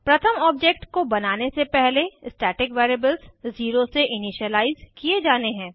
प्रथम ऑब्जेक्ट को बनाने से पहले स्टैटिक वेरिएबल्स ज़ीरो से इनिशिअलाइज़ किये जाने हैं